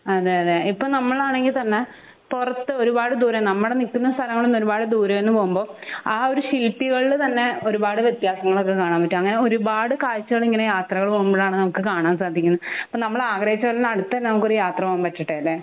അതെയതെ ഇപ്പൊ നമ്മൾ ആണെങ്കി തന്നെ പൊറത്ത് ഒരുപാട് ദൂരം നമ്മൾ നിക്കുന്ന സ്ഥലങ്ങളിൽ നിന്ന് ഒരുപാട് ദൂരം പോവുമ്പോ ആ ഒരു തന്നെ ഒരുപാട് വ്യത്യാസങ്ങൾ ഒക്കെ കാണാൻ പറ്റും അങ്ങിനെ ഒരുപാട് കാഴ്ചകൾ ഇങ്ങനെ യാത്രകൾ പോകുമ്പോഴാണ് നമുക്ക് കാണാൻ സാധിക്കുന്നെ. അപ്പൊ നമ്മൾ ആഗ്രഹിച്ച പോലെ തന്നെ അടുത്ത് നമുക്കൊരു യാത്ര പോവാൻ പറ്റട്ടെലെ